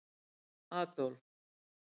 Adólf